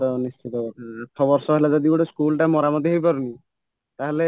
ନିଶ୍ଚିନ୍ତ ଭାବେ ଆଠ ବର୍ଷହେଲା ଯଦି ଗୋଟେ ସ୍କୁଲ ଟା ଯଦି ମରାମତି ହେଇପାରୁନି ତାହାଲେ